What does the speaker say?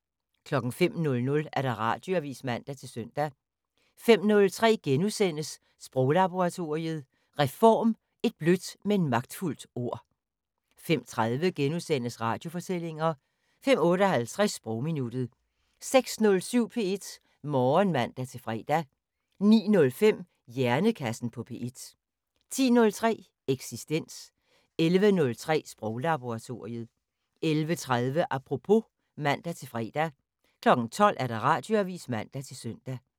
05:00: Radioavis (man-søn) 05:03: Sproglaboratoriet: Reform - et blødt, men magtfuldt ord * 05:30: Radiofortællinger * 05:58: Sprogminuttet 06:07: P1 Morgen (man-fre) 09:05: Hjernekassen på P1 10:03: Eksistens 11:03: Sproglaboratoriet 11:30: Apropos (man-fre) 12:00: Radioavis (man-søn)